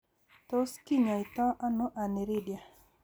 Tis kinyaita ano Aniridia?